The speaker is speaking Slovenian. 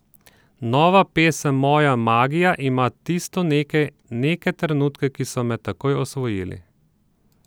Nova pesem Moja magija ima tisto nekaj, neke trenutke, ki so me takoj osvojili.